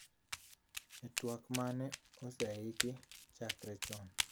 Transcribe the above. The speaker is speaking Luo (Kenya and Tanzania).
E twak ma mane oseiki chakre chon